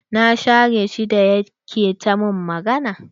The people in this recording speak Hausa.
Na share shi da yake ta min magana.